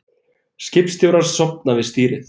Skipstjórar sofna við stýrið